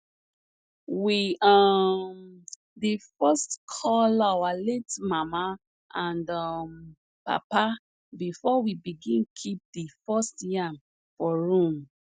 we um dey first call our late mama and um papa before we begin keep the first yam for room